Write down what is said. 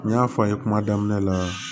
N y'a fɔ a' ye kuma daminɛ la